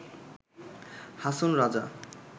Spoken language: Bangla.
হাসন রাজা